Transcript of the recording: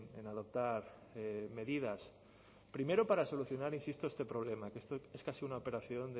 en adoptar medidas primero para solucionar insisto este problema que es casi una operación